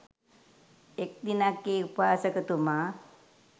එක් දිනක් ඒ උපාසකතුමා